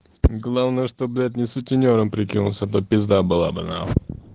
главное что блять не сутенёром прикинулся а то пизда бы была нахуй